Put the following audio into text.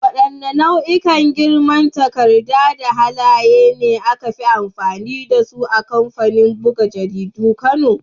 Wadanne nau'ikan girman takarda da halaye ne aka fi amfani da su a kamfanin buga jaridun kano?